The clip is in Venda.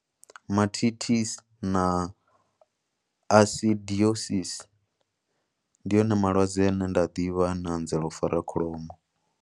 Mastitis na acidosis, ndi one malwadze ane nda a ḓivha ano anzela u fara kholomo.